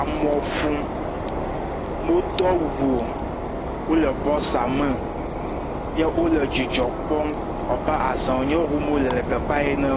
amu ƒum womedo awu o wole bɔsa me ye wole dzidzɔ kpɔm aza wònye ɖum wole le teƒea ene